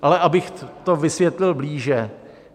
Ale abych to vysvětlil blíže.